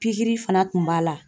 Pikiri fana tun b'a la.